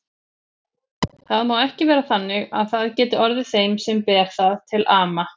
Það má ekki vera þannig að það geti orðið þeim sem ber það til ama.